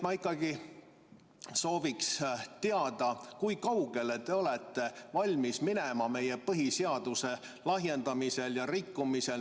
Ma ikkagi soovin teada, kui kaugele te olete valmis minema meie põhiseaduse lahjendamisel ja rikkumisel.